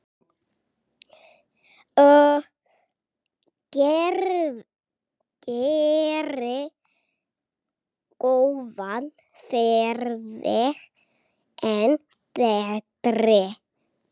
Gerir góðan farveg enn betri.